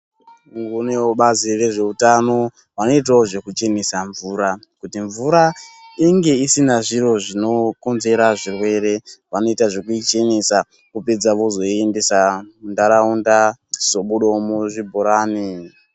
Kunewo vebazi rezveutano vanoitawo zvekuchenesa mvura, kuti mvura inge isina zviro zvinokonzera zvirwere. Vanoita zvekuisvinisa vopedza vozoiindisa munharaunda yochizobudawo muzvibhorani.